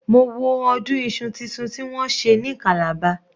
Mo wo ọdún Isu títun tí wọ́n ṣe ní calabar.